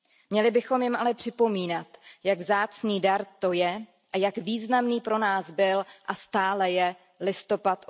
Měli bychom jim ale připomínat, jak vzácný dar to je a jak významný pro nás byl a stále jelistopad